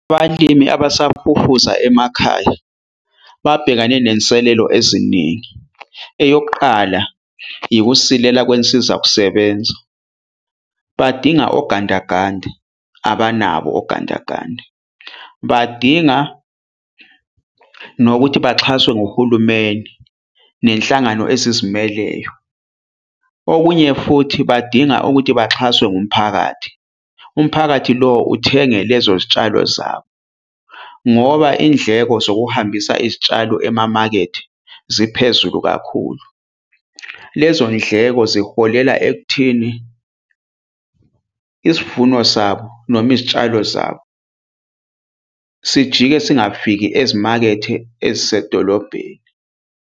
Abalimi abasafufusa emakhaya babhekane nenselelo eziningi. Eyokuqala ikusilela kwinsiza kusebenza. Badinga ogandaganda abanabo ogandaganda, badinga nokuthi baxhaswe nguhulumeni nenhlangano ezizimeleyo, okunye futhi badinga ukuthi baxhaswe ngumphakathi. Umphakathi lo uthenge lezo zitshalo zabo, ngoba indleko zokuhambisa izitshalo emamakethe ziphezulu kakhulu. Lezo ndleko ziholela ekutheni isivuno sabo noma izitshalo zabo sijike singafiki ezimakethe ezisedolobheni.